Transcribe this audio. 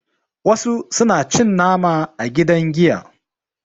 wasu suna cin nama a gidan giya